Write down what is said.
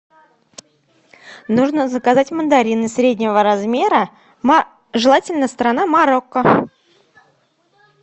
нужно заказать мандарины среднего размера желательно страна марокко